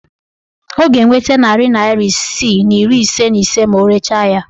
Ọ ga-enweta narị naịra isii na iri ise na ise ma o rechaa ahịa